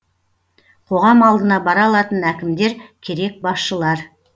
қоғам алдына бара алатын әкімдер керек басшылар